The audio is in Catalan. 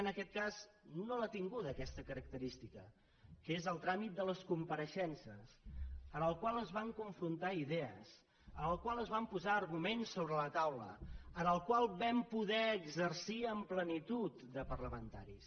en aquest cas no l’ha tinguda aquesta característica que és el tràmit de les compareixences en el qual es van confrontar idees en el qual es van posar arguments sobre la taula en el qual vam poder exercir amb plenitud de parlamentaris